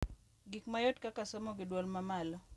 Gik mayot kaka somo gi dwol mamalo,